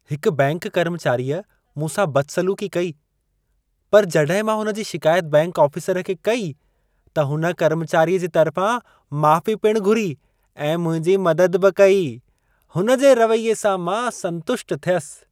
हिक बैंक कर्मचारीअ मूंसां बदसलूक़ी कई। पर जॾहिं मां हुन जी शिकायत बैंक आफ़िसरु खे कई, त हुन कर्मचारीअ जे तरिफां माफ़ी पिण घुरी ऐं मुंहिंजी मदद बि कई। हुन जे रवैये सां मां संतुष्ट थियसि।